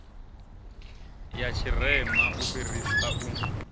ya tshirema u fhirisa u